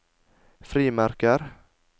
frimerker